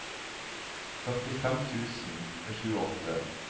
førtifem tusen og tjueåtte